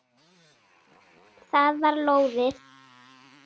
Það var lóðið!